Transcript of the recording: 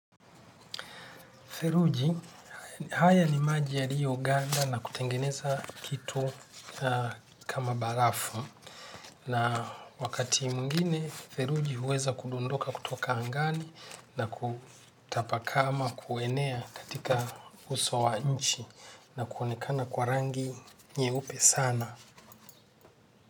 Feruji, haya ni maji yaliofanda na kutengeneza kitu kama barafu. Na wakati mwingine, theruji huweza kudondoka kutoka angani na kutapaka ama kuenea katika uso wa nchi na kuonekana kwa rangi nyeupe sana.